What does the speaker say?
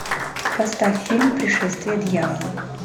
поставь фильм пришествие дьявола